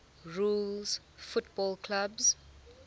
rules football clubs